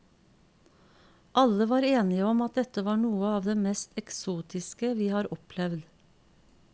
Alle var enige om att dette var noe av det mest eksotiske vi har opplevd.